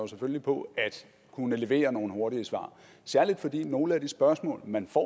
selvfølgelig på at kunne levere nogle hurtige svar særlig fordi nogle af de spørgsmål man får